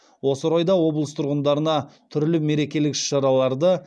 осы орайда облыс тұрғындарына түрлі мерекелік іс шараларды